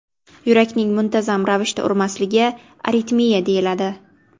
Yurakning muntazam ravishda urmasligi aritmiya deyiladi.